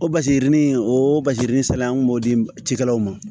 O basigi o basigidennin sera an kun b'o di cikɛlaw ma